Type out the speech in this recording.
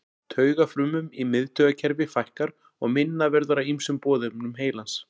Taugafrumum í miðtaugakerfi fækkar og minna verður af ýmsum boðefnum heilans.